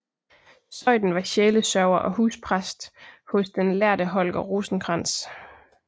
Zeuthen var sjælesørger og huspræst hos den den lærde Holger Rosenkrantz